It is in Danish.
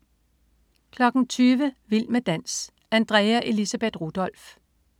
20.00 Vild med dans. Andrea Elisabeth Rudolph